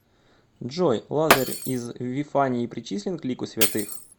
джой лазарь из вифании причислен к лику святых